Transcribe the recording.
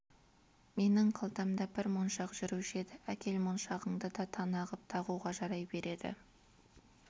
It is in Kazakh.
менің қалтамда бір моншақ жүруші еді әкел моншағыңды да тана ғып тағуға жарай береді